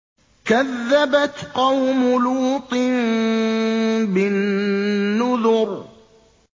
كَذَّبَتْ قَوْمُ لُوطٍ بِالنُّذُرِ